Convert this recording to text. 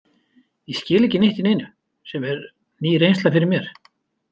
Ég skil ekki neitt í neinu sem er ný reynsla fyrir mér.